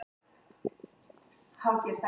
Hvað meinarðu með hreinsunum?